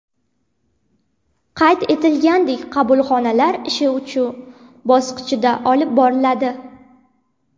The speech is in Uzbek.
Qayd etilganidek, qabulxonalar ishi uch bosqichda olib boriladi.